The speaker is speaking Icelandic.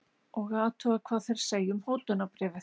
Og athuga hvað þeir segja um hótunarbréfið.